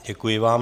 Děkuji vám.